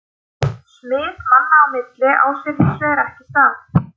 Smit manna á milli á sér hins vegar ekki stað.